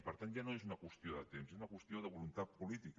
per tant ja no és una qüestió de temps és una qüestió de voluntat po·lítica